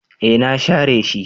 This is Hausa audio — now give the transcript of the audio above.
E na share shi.